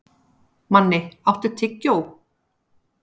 Manni, áttu tyggjó?